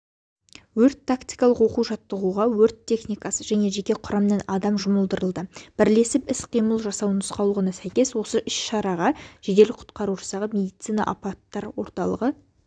өрт-тактикалық оқу-жаттығуға өрт техникасы және жеке құрамнан адам жұмылдырылды бірлесіп іс-қимыл жасау нұсқаулығына сәйкес осы іс-шараға жедел-құтқару жасағы медицина апаттар орталығы